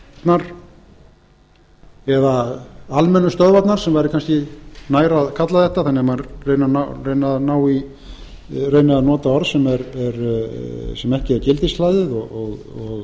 einkastöðvarnar eða almennu stöðvarnar sem væri kannski nær að kalla þetta þannig að maður reyni að nota orð sem ekki er gildishlaðið og